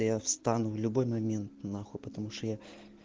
я встану в любой момент на хуй потому что я